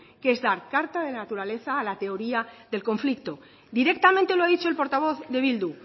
que es dar carta de naturaleza a la teoría del conflicto directamente lo ha dicho el portavoz de bildu